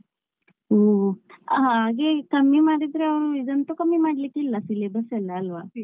ಹ್ಮ್ ಆ ಹಾಗೆಕಮ್ಮಿ ಮಾಡಿದ್ರೆ ಆ ಇದಂತು ಕಮ್ಮಿ ಮಾಡ್ಲಿಕ್ಕಿಲ್ಲ syllabus ಎಲ್ಲ ಅಲ್ವ.